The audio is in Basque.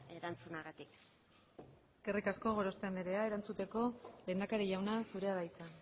erantzunagatik eskerrik asko gorospe anderea erantzuteko lehendakari jauna zurea da hitza